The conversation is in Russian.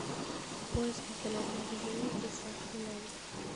поиск интернет магазина с доставкой на дом